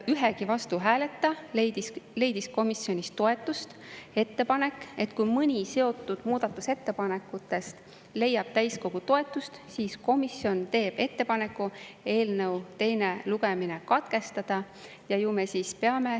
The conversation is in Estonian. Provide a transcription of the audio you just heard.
Ühegi vastuhääleta leidis komisjonis toetust ettepanek, et kui mõni seotud muudatusettepanekutest leiab täiskogu toetust, siis komisjon teeb ettepaneku eelnõu teine lugemine katkestada.